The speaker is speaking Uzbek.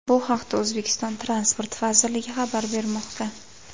Bu haqda O‘zbekiston Transport vazirligi xabar bermoqda.